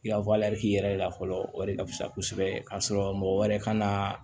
I ka yɛrɛ la fɔlɔ o de ka fisa kosɛbɛ ka sɔrɔ mɔgɔ wɛrɛ kana